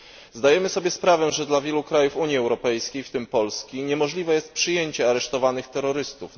Zdajemy sobie sprawę, że dla wielu krajów Unii Europejskiej, w tym Polski, niemożliwe jest przyjęcie aresztowanych terrorystów.